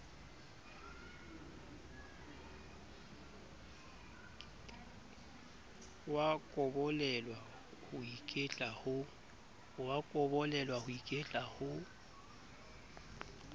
wa kobolelwa ho iketla ho